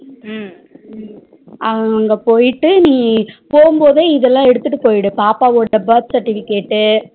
அஹ் அங்க போயிட்டு நீ போம்போதே இதல எடுத்துட்டு போய்டு பாப்பாவோட birth certificate